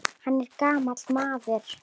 Hann er gamall maður.